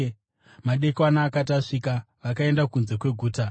Madekwana akati asvika, vakaenda kunze kweguta.